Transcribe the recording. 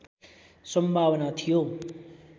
सम्भावना थियो